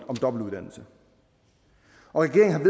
om dobbeltuddannelse og regeringen